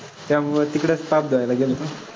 त्यामुळे तिकडचं पाप धुवायला गेलो ना.